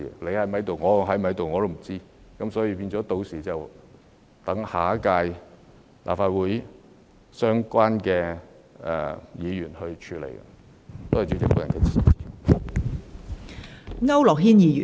屆時大家是否仍然在任，也是未知之數，故要留待下屆立法會的相關議員處理。